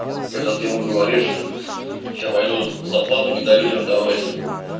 когда ты ему говоришь сейчас поеду зарплату не дали людям давать